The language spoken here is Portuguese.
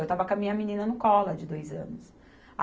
Eu estava com a minha menina no colo, a de dois anos.